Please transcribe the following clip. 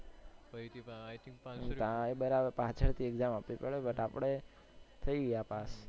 કાઈ બરાબર પાછળ થી exam આપવી પડે but આપણે થઇ ગયા પાસ.